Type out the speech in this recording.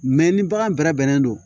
ni bagan bɛrɛ bɛnnen don